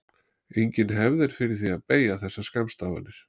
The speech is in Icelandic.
Engin hefð er fyrir því að beygja þessar skammstafanir.